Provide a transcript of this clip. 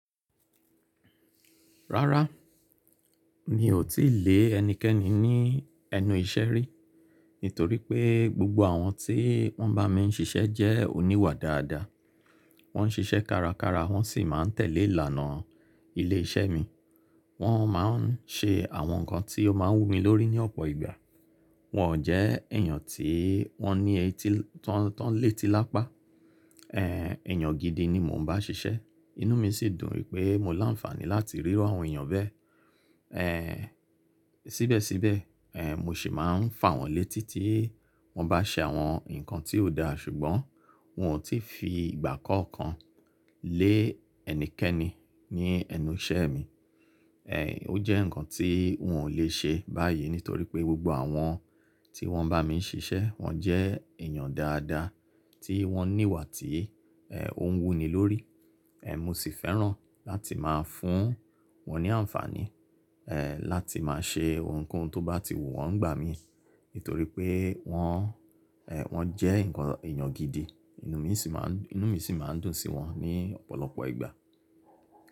Rárá, mi ò tí lè ẹnikẹ́ni ní ẹnu iṣẹ́ rí, nítorí pé gbogbo àwọn tí wọ́n bá mi ń ṣiṣẹ́ jẹ́ oníwà dáadáa. Wọ́n ń ṣiṣẹ́ kárakára wọ́n sì máa ń tẹ̀lé ìlànà ilé iṣẹ́ mi. Wọ́n máa ń ṣe àwọn nǹkan tí ó máa wú mi lórí ní ọ̀pọ̀ ìgbà. Wọn ò jẹ́ èyàn tí wọ́n ní etí tọ́n lè ti lápá. Èyàn gidi ni mò ń bá ṣiṣẹ́. Inú mi sì dùn wí pé mo láǹfààní láti rírụ àwọn èyàn bẹ́ẹ̀. Ẹ̀ sìbẹ̀síbẹ̀, è mọ ṣì máa ń fà wọ́n létí tí wọ́n bá ṣe àwọn nǹkan tí ò dáa ṣùgbọ́n won ò tí fi ìgbà kankan lé ẹnikẹ́ni ní ẹnu iṣẹ́ mi. È ó jẹ́ nǹkan tí n ò lè ṣe báyìí nítorí pé gbogbo àwọn tí wọ́n bá mi ń ṣiṣẹ́ wọ́n jẹ́ èyàn dáadáa tí wọ́n níwà tí ò ń wú ni lórí. È mo sì fẹ́ràn láti máa fún wọ́n ní àǹfààní, ẹ láti máa ṣe ohunkóhun tó bá ti wù wọ́n ní gbà mí, nítorí pé wọ́n, ẹ̀ wọ́n jẹ́ nǹkan èyàn gidi. Inú mi sì máa ń, inú mi sì máa ń dùn sí wọn ní ọ̀pọ̀lọpọ̀ ìgbà.